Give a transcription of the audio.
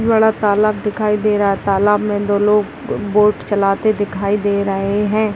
तालाब दिखाई दे रहा है तालाब में दो लोग बोट चलाते दिखाई दे रहें हैं।